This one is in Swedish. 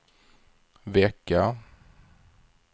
vecka